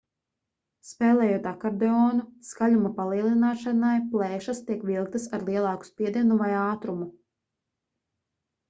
spēlējot akordeonu skaļuma palielināšanai plēšas tiek vilktas ar lielāku spiedienu vai ātrumu